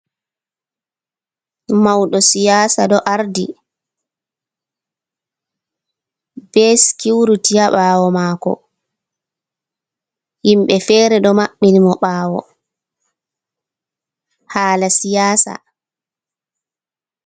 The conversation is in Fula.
Mauɗo siyasa ɗo ardi ɓe skiuriti ha ɓawo mako, himɓe fere ɗo maɓɓin mo ɓawo hala siyasa.